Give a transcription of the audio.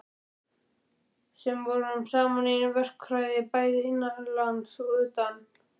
Við sem vorum saman í verkfræði bæði innanlands og utan.